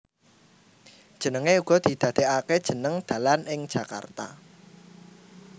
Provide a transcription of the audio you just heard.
Jenenge uga didadekake jeneng dalan ing Jakarta